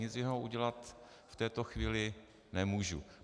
Nic jiného udělat v této chvíli nemůžu.